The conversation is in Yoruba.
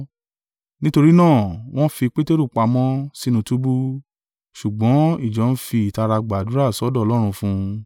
Nítorí náà wọn fi Peteru pamọ́ sínú túbú; ṣùgbọ́n ìjọ ń fi ìtara gbàdúrà sọ́dọ̀ Ọlọ́run fún un.